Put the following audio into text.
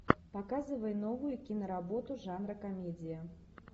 показывай новую киноработу жанра комедия